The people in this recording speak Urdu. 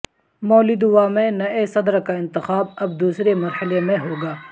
مولدووا میں نئے صدر کا انتخاب اب دوسرے مرحلے میں ہوگا